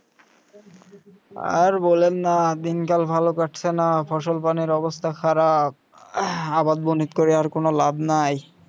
আর বলেন না দিনকাল ভালো কাটছে না ফসল পানির অবস্থা খারাপ আহ আবার বনিক করে আর কোন লাভ নাই